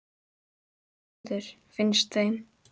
Þessi var góður, finnst þeim.